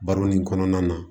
Baro nin kɔnɔna na